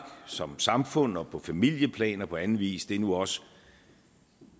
som samfund og på familieplan og på anden vis nu også